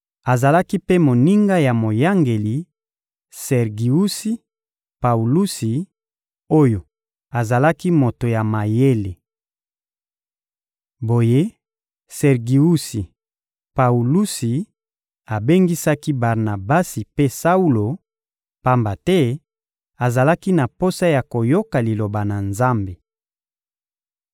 Azalaki mpe moninga ya moyangeli Sergiusi Paulusi oyo azalaki moto ya mayele. Boye, Sergiusi Paulusi abengisaki Barnabasi mpe Saulo, pamba te azalaki na posa ya koyoka Liloba na Nzambe.